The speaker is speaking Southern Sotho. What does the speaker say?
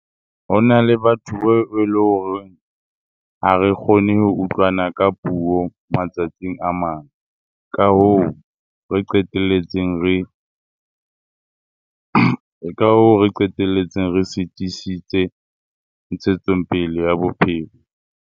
Ho na le batho beo eleng horeng ha re kgone ho utlwana ka puo matsatsing a mang, ka hoo re qetelletseng ke ka hoo re qeteletse re sitisitse ntshetsongpele ya bophelo.